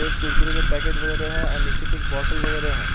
पहले स्कूल खुलेंगे पैकेट वगेरा है और निचे कुछ बोत्तल वगेरा है।